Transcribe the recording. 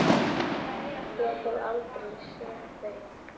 Ég hef aldrei séð þau!